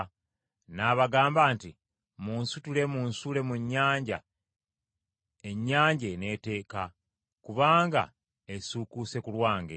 N’abagamba nti, “Munsitule munsuule mu nnyanja ennyanja eneeteeka, kubanga esiikuuse ku lwange.”